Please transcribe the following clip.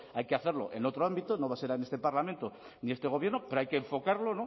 hay que hacerlo en otro ámbito no va a ser en este parlamento ni este gobierno pero hay que enfocarlo